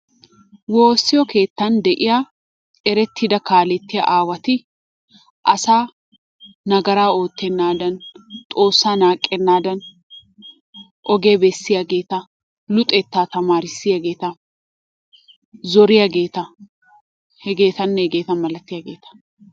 Wossiyoo keettan de'iyaa erettidaa kalettiyaa awatti, asaa nagara ottenadani xoossaa naqenadanni ogiyaa besiyaagetta, luxettaa tamarisiyagetta, zoriyaagettaa, hegetanne hegettaa malatiyagettaa.